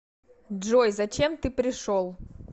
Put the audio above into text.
джой зачем ты пришел